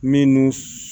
Minnu